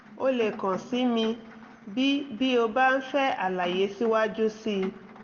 o lè kàn sí mi bí bí o bá ń fẹ́ àlàyé síwájú sí i